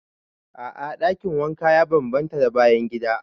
A'a dakin wanka ya bambanta da bayan gida.